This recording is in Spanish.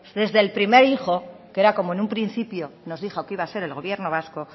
desde el primer hijo que era como en un principio nos dijo que iba a ser el gobierno vasco